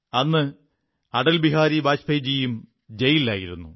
അന്ന് അടൽ ബിഹാരി വാജ്പേയിജിയും ജയിലിലായിരുന്നു